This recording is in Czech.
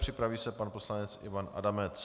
Připraví se pan poslanec Ivan Adamec.